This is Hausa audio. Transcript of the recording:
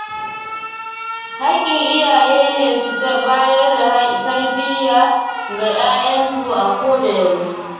Hakkin iyaye ne su bayar da tarbiyya ga ƴaƴayensu a koda yaushe.